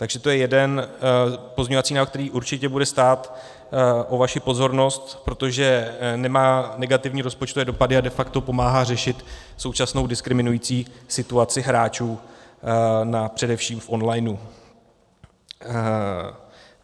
Takže to je jeden pozměňovací návrh, který určitě bude stát o vaši pozornost, protože nemá negativní rozpočtové dopady a de facto pomáhá řešit současnou diskriminující situaci hráčů především v online.